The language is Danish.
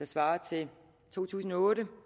svarer til to tusind og otte